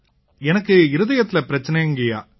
எனக்கு இருதயத்தில பிரச்சனைங்கய்யா